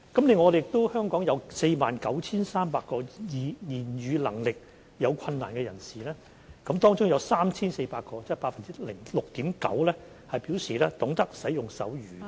另外，香港有 49,300 名言語能力有困難的人士，當中有 3,400 名，即 6.9% 表示懂得使用手語。